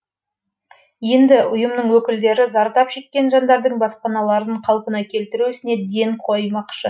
енді ұйымның өкілдері зардап шеккен жандардың баспаналарын қалпына келтіру ісіне ден қоймақшы